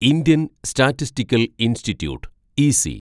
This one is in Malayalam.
Indian Statistical Institute (EC)